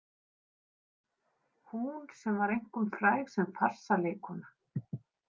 Hún sem var einkum fræg sem farsaleikkona.